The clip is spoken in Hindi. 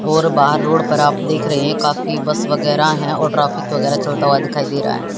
और बाहर रोड पर आप देख रहे हैं काफी बस वगैरा है और ट्रैफिक वगैरा चलता हुआ दिखाई दे रहा है।